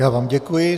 Já vám děkuji.